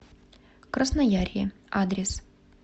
красноярье адрес